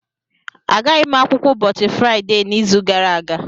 Agaghị m akwụkwọ ụbọchị Fraịde n'izu gara aga